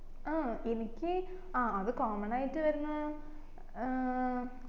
ആ എനിക്ക് അഹ് അത് common ആയിട്ട് വരുന്ന ഏർ